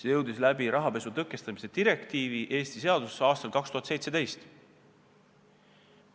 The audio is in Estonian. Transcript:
See jõudis rahapesu tõkestamise direktiivi kaudu Eesti seadusse aastal 2017.